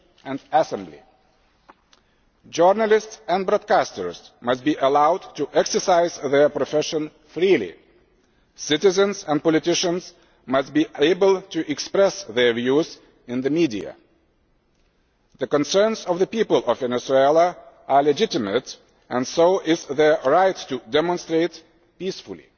and assembly. Journalists and broadcasters must be allowed to exercise their profession freely. Citizens and politicians must be able to express their views in the media. The concerns of the people of Venezuela are legitimate and so is their right to demonstrate peacefully.